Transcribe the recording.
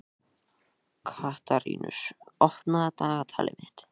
Katarínus, opnaðu dagatalið mitt.